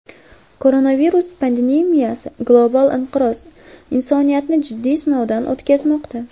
Koronavirus pandemiyasi, global inqiroz insoniyatni jiddiy sinovdan o‘tkazmoqda.